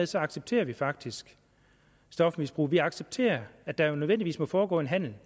så accepterer vi faktisk stofmisbrug vi accepterer at der nødvendigvis må foregå en handel